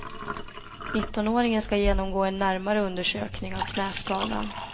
Nittonåringen ska genomgå en närmare undersökning av knäskadan.